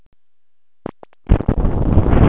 Lillý Valgerður Pétursdóttir: Hvernig hefurðu það?